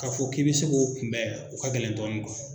K'a fɔ k'i bɛ se k'o kunbɛn o ka gɛlɛn dɔɔni